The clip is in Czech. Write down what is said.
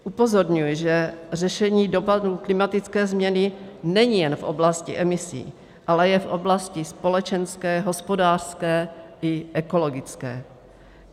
Upozorňuji, že řešení dopadů klimatické změny není jen v oblasti emisí, ale je v oblasti společenské, hospodářské i ekologické.